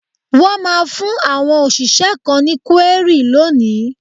Wọ́n máa fún àwọn òṣìṣẹ́ kan ní kúérì lónìí.